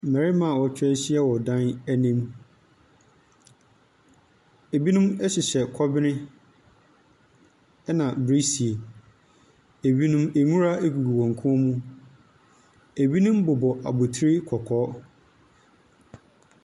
Mmarima a wɔatwa ahyia dan bi anim, binom hyehyɛ kɔbene na birisie, binom nwura gu wɔn kɔn mu, binom bobɔ abɔtire kɔkɔɔ.